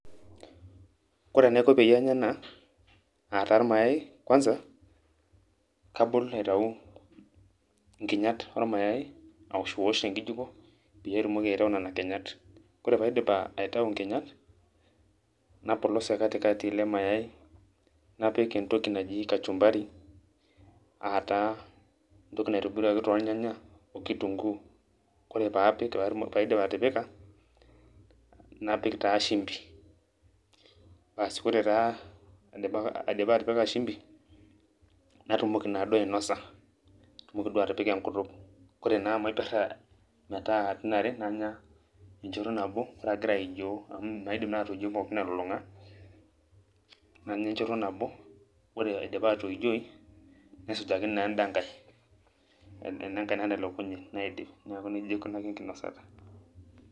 Kore enaiko peyie anya ena, ataa irmayai, kwanza, kabol aitau nkinyat ormayai, awoshwosh tenkijiko, peyie atumoki aitau nena kinyat. Kore paidip aitau nkinyat, napolos tekatikati ele mayai, napik entoki naji kachumbari ,ataa entoki naitobiruaki tornyanya okitunkuu. Kore paapik paidip atipika, napik taa shimbi. Asi kore taa aidipa atipika shimbi, natumoki naduo ainosa, natumoki duo atipika enkutuk. Kore naa amu aiperra metaa katitin are, nanya enchoto nabo, ore agira aijoo amu maidim naa atoijoi pookin elulung'a, nanya enchoto nabo. Ore aidipa atoijoi, nesujaki naa enda nkae, ena nkae natelekunye, naidip. Neeku nejia aikunaki enkinosata.